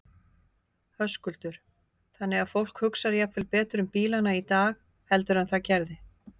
Höskuldur: Þannig að fólk hugsar jafnvel betur um bílana í dag heldur en það gerði?